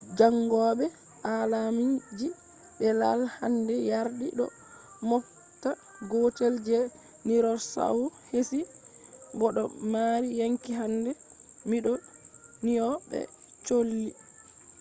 jangobe aalamji be i’al hande yardi do moobta gootel je dinorsaur heesi bo do mari yonki hande. mindo nyona be cholli